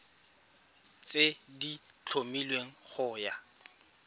tse di tlhomilweng go ya